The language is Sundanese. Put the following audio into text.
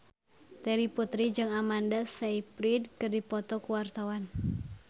Terry Putri jeung Amanda Sayfried keur dipoto ku wartawan